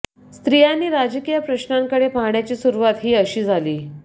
स्त्रियांनी राजकीय प्रश्नाकडे पाहण्याची सुरुवात ही अशी झाली